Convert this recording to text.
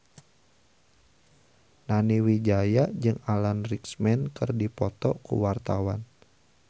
Nani Wijaya jeung Alan Rickman keur dipoto ku wartawan